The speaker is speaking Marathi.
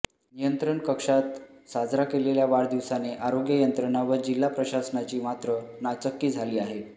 नियंत्रण कक्षात साजरा केलेल्या वाढदिवसाने आरोग्य यंत्रणा व जिल्हा प्रशासनाची मात्र नाचक्की झाली आहे